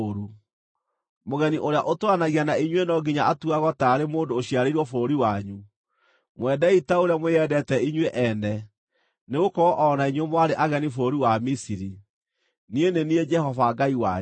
Mũgeni ũrĩa ũtũũranagia na inyuĩ no nginya atuagwo taarĩ mũndũ ũciarĩirwo bũrũri wanyu. Mwendei ta ũrĩa mwĩendete inyuĩ ene, nĩgũkorwo o na inyuĩ mwarĩ ageni bũrũri wa Misiri. Niĩ nĩ niĩ Jehova Ngai wanyu.